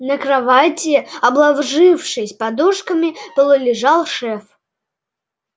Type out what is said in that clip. на кровати обложившись подушками полулежал шеф